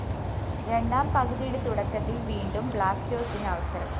രണ്ടാം പകുതിയുടെ തുടക്കത്തില്‍ വീണ്ടും ബ്ലാസ്‌റ്റേഴ്‌സിന് അവസരം